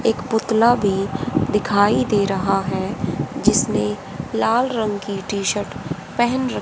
एक पुतला भी दिखाई दे रहा है जिसने लाल रंग की टी शर्ट पहन--